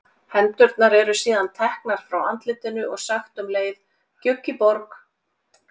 Hendurnar eru síðan teknar frá andlitinu og sagt um leið gjugg í borg.